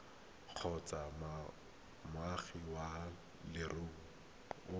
kgotsa moagi wa leruri o